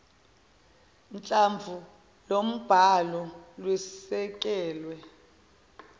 hlamvu lombhalo lwesekelwe